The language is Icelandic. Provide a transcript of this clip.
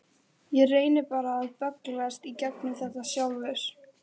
Ég reyni bara að bögglast í gegnum þetta sjálfur.